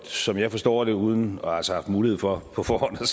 som jeg forstår det uden altså at mulighed for på forhånd